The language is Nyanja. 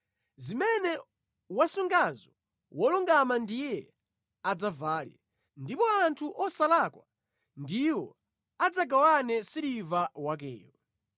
zimene wasungazo wolungama ndiye adzavale, ndipo anthu osalakwa ndiwo adzagawane siliva wakeyo.